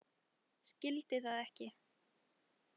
Skildi það ekki.